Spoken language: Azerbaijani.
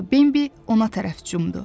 Bembi ona tərəf cumdu.